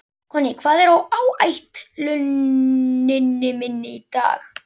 Konný, hvað er á áætluninni minni í dag?